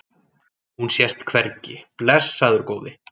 Hún sést hvergi, blessaður góði.